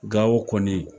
Gawo kɔni